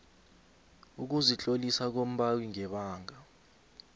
ukuzitlolisa kombawi ngebanga